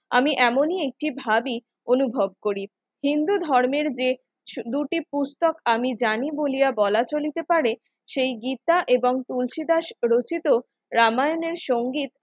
আমি এমনই একটি ভাবি অনুভব করি হিন্দু ধর্মের যে দুটি পুস্তক আমি জানি বলিয়া বলা চলিতে পারে সেই গীতা এবং তুলসীদাস রচিত রামায়ণের সঙ্গে